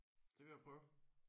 Det vil jeg prøve